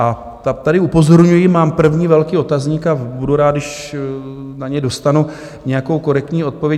A tady upozorňuji, mám první velký otazník, a budu rád, když na něj dostanu nějakou korektní odpověď.